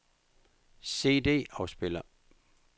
CD-afspiller